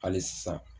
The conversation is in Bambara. Hali sisan